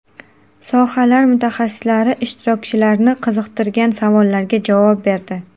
Sohalar mutaxassislari ishtirokchilarni qiziqtirgan savollarga javob berdi.